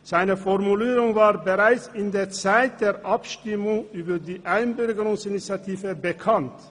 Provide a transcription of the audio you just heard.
Seine Formulierung war bereits zum Zeitpunkt der Abstimmung über die Einbürgerungsinitiative bekannt.